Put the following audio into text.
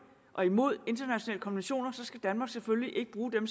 og imod internationale konventioner så skal danmark selvfølgelig ikke bruge dem